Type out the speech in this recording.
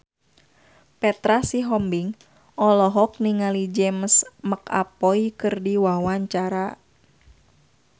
Petra Sihombing olohok ningali James McAvoy keur diwawancara